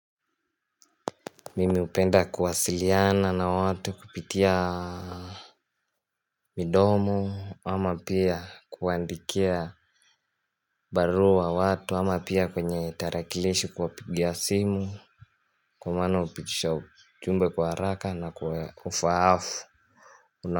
Mimi hupenda kuwasiliana na watu kupitia Midomo ama pia kuandikia barua watu ama pia kwenye tarakilishi kuwa pigia simu kwa maana hupitisha ujumbe kwa haraka na kwa ufaafu.